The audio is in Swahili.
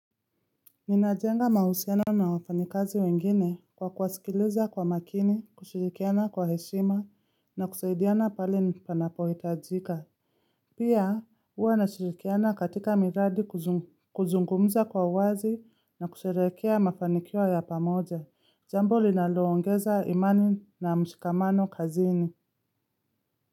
Ninajenga mahusiano na wafanyikazi wengine kwa kuwasikiliza kwa makini, kushirikiana kwa heshima na kusaidiana pali panapohitajika. Pia huwa nashirikiana katika miradi kuzungumza kwa wazi na kusherekea mafanikio ya pamoja. Jambo linaloongeza imani na mshikamano kazini.